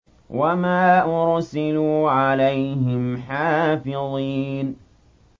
وَمَا أُرْسِلُوا عَلَيْهِمْ حَافِظِينَ